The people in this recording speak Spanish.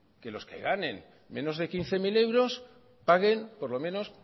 que los que ganen menos de quince mil paguen por lo menos